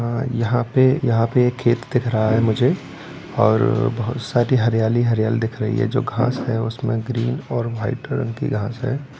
-- हां यहां पे यहां पे एक खेत दिख रहा है मुझे और बहुत सारी हरियाली-हरियाली दिख रही है जो घास है उसमे ग्रीन और व्हाइट रंग की घास है।